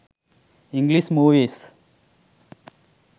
english movies